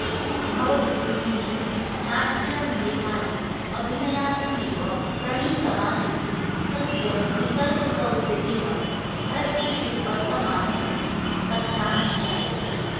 भवभूतिहि नाट्यान्येतानि अभिनयार्थमेव प्रणीतवानिति तस्य निसर्गसौहृदेन भरतेषु वर्तमानः इति कथनाज्ज्ञायते